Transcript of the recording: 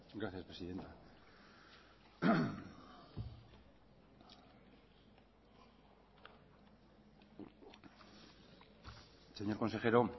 gracias presidenta señor consejero